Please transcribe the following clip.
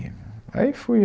aí foi.